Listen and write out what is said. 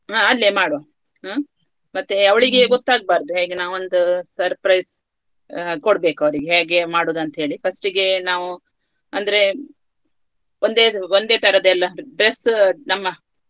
ಹಾ ಅಲ್ಲಿಯೇ ಮಾಡುವ ಹ್ಮ್‌ ಮತ್ತೆ ಅವ್ಳಿಗೆ ಗೊತ್ತಾಗ್ಬಾರ್ದು ಹೇಗೆ ನಾವು ಒಂದು surprise ಕೊಡ್ಬೇಕು ಅವ್ರಿಗೆ ಹೇಗೆ ಮಾಡುದಂತ ಹೇಳಿ first ಗೆ ನಾವು ಅಂದ್ರೆ ಒಂದೇ ಒಂದೇತರದು ಎಲ್ಲ dress ನಮ್ಮ.